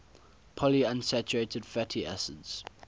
polyunsaturated fatty acids